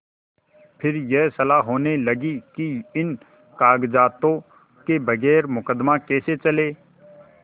फिर यह सलाह होने लगी कि इन कागजातों के बगैर मुकदमा कैसे चले